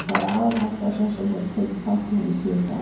Það er aðalástæða þess að ég hef tekið þátt í henni síðustu árin.